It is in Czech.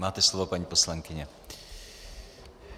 Máte slovo, paní poslankyně.